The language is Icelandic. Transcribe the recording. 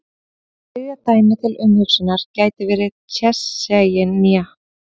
Þriðja dæmið til umhugsunar gæti verið Tsjetsjenía.